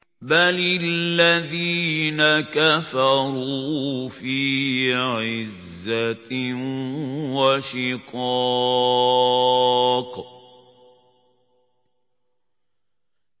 بَلِ الَّذِينَ كَفَرُوا فِي عِزَّةٍ وَشِقَاقٍ